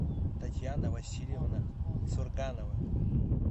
татьяна васильевна сурганова